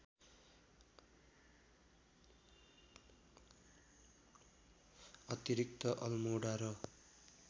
अतिरिक्त अल्मोडा र